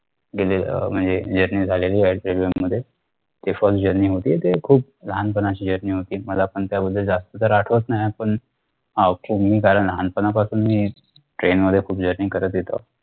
गेलेलं अह म्हणजे journey झालेली आहे railway मध्ये ते first journey होती ते खूप लहानपणाची journey होती मला पण त्याबद्दल जास्त तर आठवत नाहीये पण of course लहानपणापासून मी train मध्ये खूप journey करत येतो